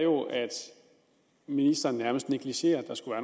ministeren nærmest negligerer at der skulle